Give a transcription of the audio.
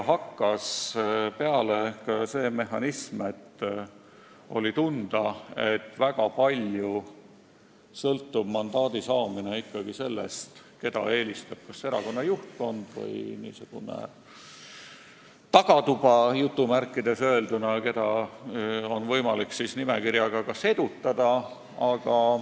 Hakkas tunda andma selline mehhanism, et väga palju sõltub mandaadi saamine sellest, keda eelistab kas erakonna juhtkond või niisugune "tagatuba", ja et nimekirjaga on võimalik edutada.